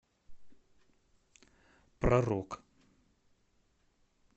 про рок